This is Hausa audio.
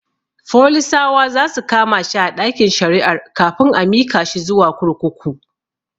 Folisawa zasu kama shi a ɗakin shari'ar kafin a mika shi zuwa kurkuku